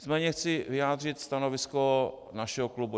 Nicméně chci vyjádřit stanovisku našeho klubu.